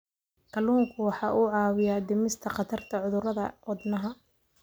Kalluunku waxa uu caawiyaa dhimista khatarta cudurrada wadnaha.